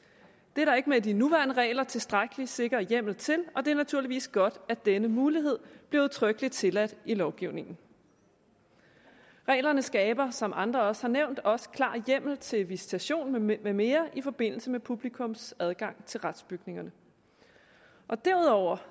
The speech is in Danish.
det er der ikke med de nuværende regler tilstrækkelig sikker hjemmel til og det er naturligvis godt at denne mulighed bliver udtrykkeligt tilladt i lovgivningen reglerne skaber som andre også har nævnt også klar hjemmel til visitation med med mere i forbindelse med publikums adgang til retsbygningerne derudover